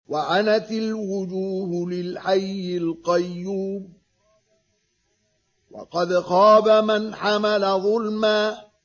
۞ وَعَنَتِ الْوُجُوهُ لِلْحَيِّ الْقَيُّومِ ۖ وَقَدْ خَابَ مَنْ حَمَلَ ظُلْمًا